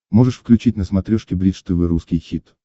можешь включить на смотрешке бридж тв русский хит